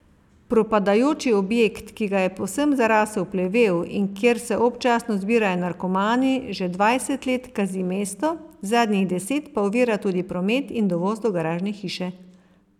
Propadajoči objekt, ki ga je povsem zarasel plevel in kjer se občasno zbirajo narkomani, že dvajset let kazi mesto, zadnjih deset pa ovira tudi promet in dovoz do garažne hiše.